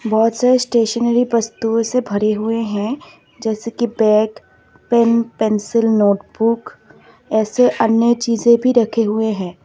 बहोत सारी स्टेशनरी वस्तुओ से भरे हुए हैं जैसे की बैग पेन पेंसिल नोटबुक ऐसे अन्य चीजें भी रखे हुए हैं।